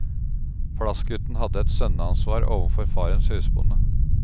Plassgutten hadde et sønneansvar overfor farens husbonde.